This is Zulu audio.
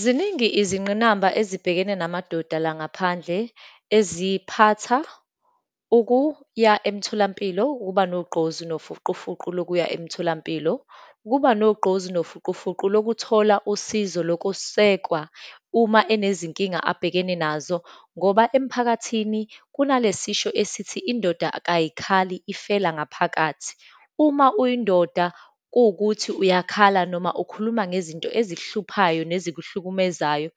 Ziningi izinqinamba ezibhekene namadoda langaphandle, eziphatha ukuya emtholampilo, ukuba nogqozi nofuqufuqu lokuya emtholampilo, ukuba nogqozi nofuqufuqu lokuthola usizo lokusekwa uma enezinkinga abhekene nazo, ngoba emphakathini kunale sisho esithi, indoda kayikhali, ifela ngaphakathi. Uma uyindoda, kuwukuthi uyakhala, noma ukhuluma ngezinto ezikuhluphayo, nezikuhlukumezayo,